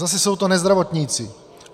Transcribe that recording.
Zase jsou to nezdravotníci.